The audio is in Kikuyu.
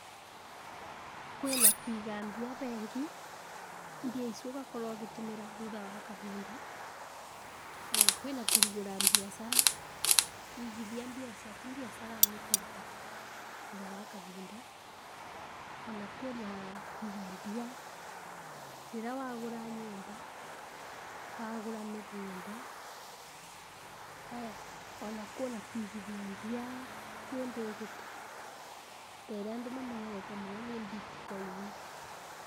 Kwĩna kũiga mbia bengi, mbia icu ũgakorwa ũgĩtũmĩra thutha wa kahinda, aya kwĩna kũrugũra biacara, waigithia mbia ciaku biacara-inĩ ĩkaruta thutha wa kahinda, ona kũna kũiga mbia rĩrĩa wagũra nyũmba, wagũra mĩgũnda, aya ona kũna kũigithia mbia kĩndĩgĩto ta ĩrĩa andũ mamenyerete mũno nĩ bitcoin.